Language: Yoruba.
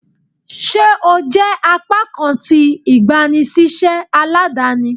Ṣe o jẹ apakan ti igbanisiṣẹ aladani?